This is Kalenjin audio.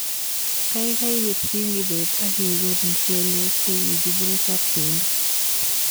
Gaigai birchi kibet agiguur mchelek chegigiburuch ak pendo